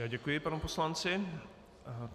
Já děkuji panu poslanci.